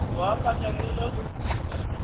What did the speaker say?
go akanywa le ge go